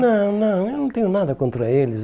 Não, não, eu não tenho nada contra eles.